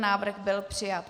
Návrh byl přijat.